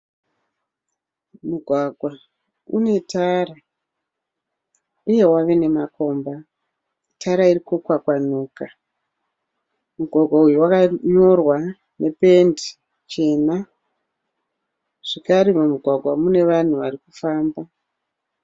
Mugwagwa une tara, uye wave nemakomba, tara irikukwakwanuka, mugwagwa uyu wkanyorwa nependi chena, zvakare mumugwagwa mune vanhu vari kufamba.